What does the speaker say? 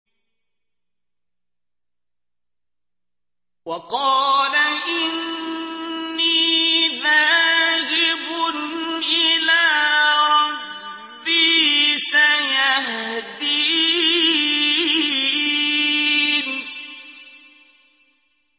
وَقَالَ إِنِّي ذَاهِبٌ إِلَىٰ رَبِّي سَيَهْدِينِ